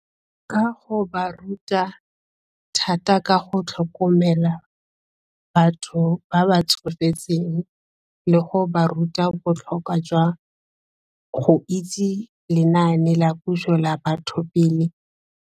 Ka go ba ruta thata ka go tlhokomela batho ba ba tsofetseng le go ba ruta botlhokwa jwa go itse lenaane la puso la Batho Pele.